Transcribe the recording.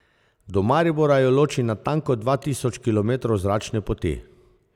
Do Maribora jo loči natanko dva tisoč kilometrov zračne poti.